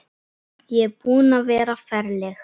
Ég er búin að vera ferleg.